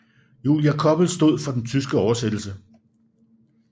Julia Koppel stod for den tyske oversættelse